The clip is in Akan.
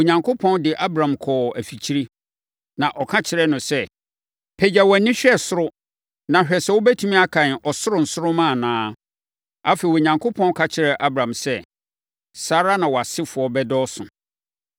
Onyankopɔn de Abram kɔɔ afikyire, na ɔka kyerɛɛ no sɛ, “Pagya wʼani hwɛ soro na hwɛ sɛ wobɛtumi akan ɔsoro nsoromma anaa.” Afei, Onyankopɔn ka kyerɛɛ Abram sɛ, “Saa ara na wʼasefoɔ bɛdɔɔso.”